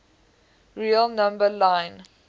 real number line